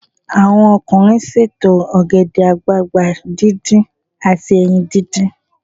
Àwọn ọkùnrin ṣètò ògèdè àgbagbà díndín àti ẹyin díndín.